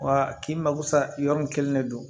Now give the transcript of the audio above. Wa k'i mako sa yɔrɔ min kelen de don